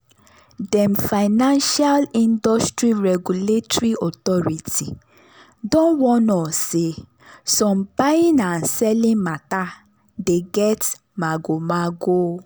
dem financial industry regulatory authority don warn us say some buying and selling matter dey get magomago